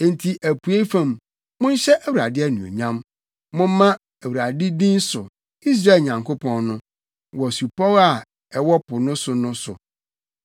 Enti apuei fam, monhyɛ Awurade anuonyam; momma Awurade din so, Israel Nyankopɔn no, wɔ supɔw a ɛwɔ po so no so.